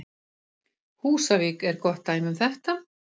Húsavík er gott dæmi um þetta.